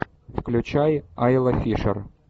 включай айла фишер